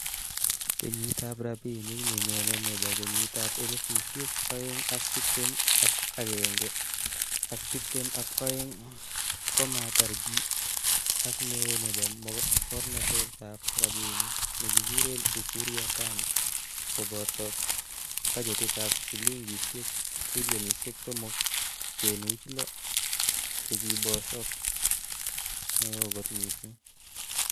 Kenyitab rabinik nenyone nebo kenyitab elfusiek oeng ak tibtem ak akenge/ak tibtem ak oeng, komater gii, ak neo nebo mornetab rabinik nekikuren Ukur Yatani koborto bachetitab silingisiek trilionisiek somok kenuch loo chekibosok, ne o kot mising!